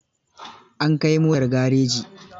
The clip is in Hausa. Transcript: An kai motar gareji.